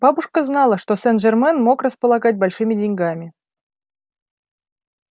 бабушка знала что сен-жермен мог располагать большими деньгами